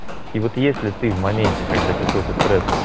и вот если ты в моменте когда какой-то стресс